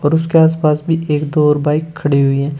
और उसके आसपास भी एक दो और बाइक खड़ी हुई हैं।